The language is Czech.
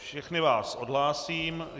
Všechny vás odhlásím.